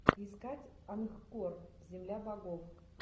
искать ангкор земля богов